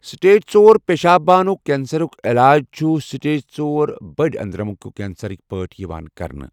Stage ژۄر پٮ۪شاب بانُک کینسَرُک علاج چھُ سٹیج ژۄر بٔڑۍ أنٛدرمُک کینسَرٕک پٲٹھۍ یِوان کرنہٕ۔